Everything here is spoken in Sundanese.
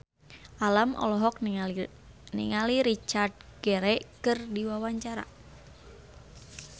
Alam olohok ningali Richard Gere keur diwawancara